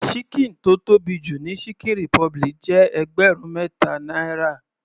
Ṣíkìn tó tóbi jù ní chicken republic jẹ́ ẹgbẹrun mẹta náírà.